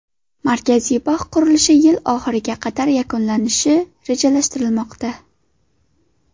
Markaziy bog‘ qurilishi yil oxiriga qadar yakunlanishi rejalashtirilmoqda.